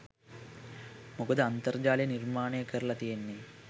මොකද අන්තර්ජාලය නිර්මාණය කරලා තියෙන්නේ